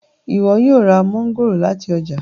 ìwo yóò rá Mángòrò láti ọjà